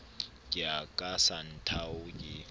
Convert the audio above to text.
ke ya ka santhao ke